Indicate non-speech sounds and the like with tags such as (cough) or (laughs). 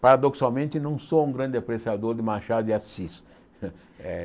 Paradoxalmente, não sou um grande apreciador de Machado de Assis (laughs) eh.